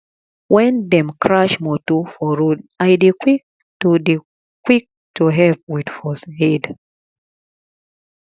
when dem crash motor for road i dey quick to dey quick to help with first aid